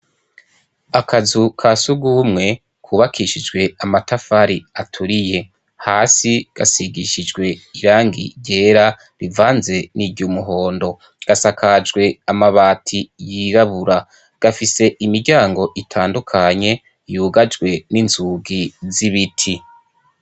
Akazu ka sugumwe kubakishijwe amatafari aturiye, hasi gasigishijwe irangi ryera rivanze n'iry'umuhondo, gasakajwe amabati yirabura, gafise imiryango itandukanye yugajwe n'inzugi z'ibiti.